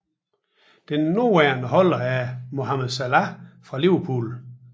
Den nuværende holder er Mohamed Salah fra Liverpool